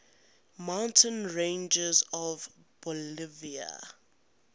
mountain ranges of bolivia